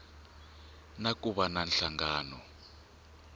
na ku va na nhlangano